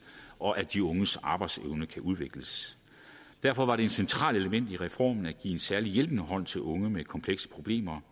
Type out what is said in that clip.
og at de unges arbejdsevne kan udvikles derfor var det et centralt element i reformen at give en særlig hjælpende hånd til unge med komplekse problemer